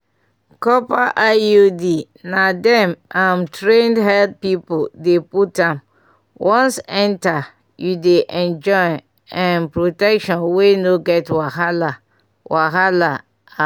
copper iud na dem um trained health people dey put am once enter you dey enjoy um protection wey no get wahala wahala ah!